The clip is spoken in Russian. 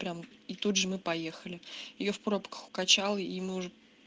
прям и тут же мы поехали её в пробках укачало и мы уже